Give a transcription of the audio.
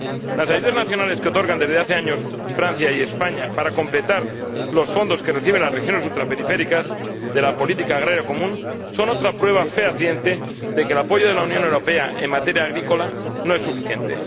Las ayudas nacionales que otorgan, desde hace años, Francia y España para completar los fondos que reciben las regiones ultraperiféricas de la política agrícola común son otra prueba fehaciente de que el apoyo de la Unión Europea en materia agrícola no es suficiente.